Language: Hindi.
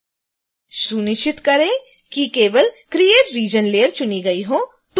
सुनिश्चित करें कि केवल create region layer चुनी गई हो